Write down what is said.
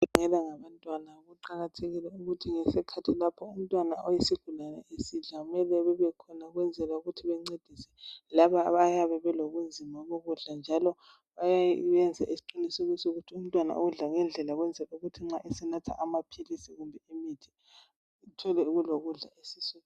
Abagulelwa ngabantwana, kuqakathekile ukuthi ngesikhathi lapha umntwana oyisigulane esidla, kumele babekhona, ukwenzela ukuthi bencedise, labo abayabe belobunzima bokudla., njalo benze isiqiniselo sokuthi umntwana udla ngendlela. Ukwenzela ukuthi nxa esenatha amaphlisi, athole kulokudla esiswini.